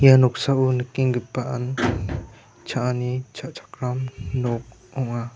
ia noksao nikenggipaan cha·ani cha·chakram nok ong·a.